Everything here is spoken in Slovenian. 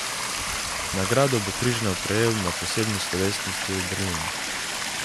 Nagrado bo Križnar prejel na posebni slovesnosti v Berlinu.